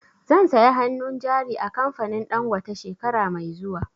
Zan saya hannun jari a kamfanin Dangote shekara mai zuwa